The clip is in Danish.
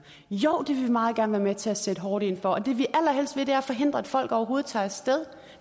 jo det vil vi meget gerne være med til at sætte hårdt ind over for det vi allerhelst vil er at forhindre at folk overhovedet tager af sted